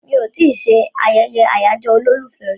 Mi ò tí ì ṣe ayẹyẹ àyájọ́ olólùfẹ́ rí